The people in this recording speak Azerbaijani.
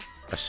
Bəs?